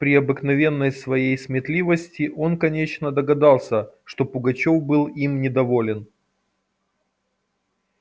при обыкновенной своей сметливости он конечно догадался что пугачёв был им недоволен